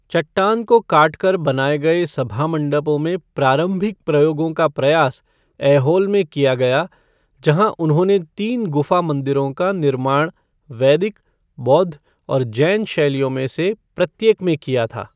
चट्टान को काटकर बनाए गए सभा मण्डपों में प्रारंभिक प्रयोगों का प्रयास ऐहोल में किया गया, जहाँ उन्होंने तीन गुफा मंदिरों का निर्माण वैदिक, बौद्ध और जैन शैलियों में से प्रत्येक में किया था।